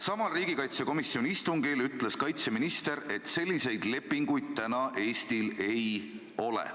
Samal riigikaitsekomisjoni istungil ütles kaitseminister, et selliseid lepinguid Eestil praegu ei ole.